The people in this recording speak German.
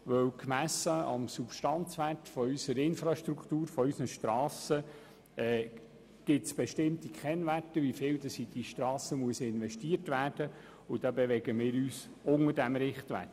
Dies, weil gemessen am Substanzwert der Infrastruktur unserer Strassen bestimmte Kennwerte bestehen, wie viel in die Strassen investiert werden muss, wobei wir uns unter diesem Richtwert bewegen.